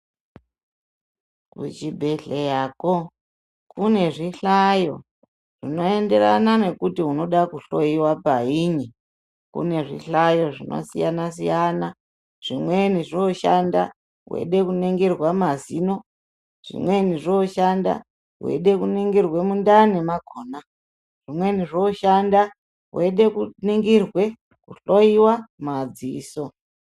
Kuchibhedhleyako kune zvihlayo zvinoenderana nekuti unoda kuhloyiwa payini. Kune zvihlayo zvakasiyana-siyana. Zvimweni zvooshanda weide kuningirwa mazino. Zvimweni zvooshanda weide kuningirwe mundani makhona. Zvimweni zvooshanda weida kuningirwe, kuhloyiwa madziso.